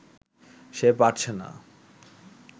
সে পারছে না